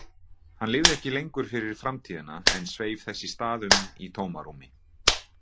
Hann lifði ekki lengur fyrir framtíðina en sveif þess í stað um í tómarúmi.